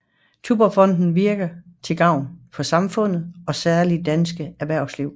Tuborgfondet virker til gavn for samfundet og særligt dansk erhvervsliv